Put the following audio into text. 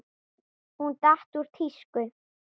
Hún datt úr tísku.